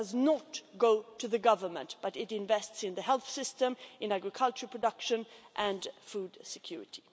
It does not go to the Government but is invested in the health system, in agricultural production and in food security.